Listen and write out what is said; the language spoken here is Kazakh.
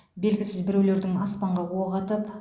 белгісіз біреулердің аспанға оқ атып